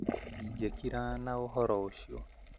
Ndingĩkira na ũhoro ũcio